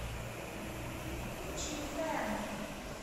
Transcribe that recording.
чифэн